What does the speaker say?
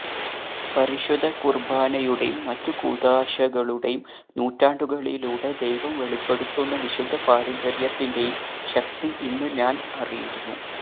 പരിശുദ്ധ കുർബാനയുടെയും മറ്റു കൂദാശകളുടെയും നൂറ്റാണ്ടുകളിലൂടെ ദൈവം വെളിപ്പെടുത്തുന്ന വിശുദ്ധ പാരമ്പര്യത്തിന്റെയും ശക്തി ഇന്ന് ഞാനറിയുന്നു